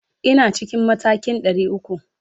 Ina cikin matakin 300.